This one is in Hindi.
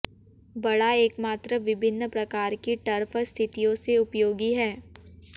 बड़ा एकमात्र विभिन्न प्रकार की टर्फ स्थितियों से उपयोगी है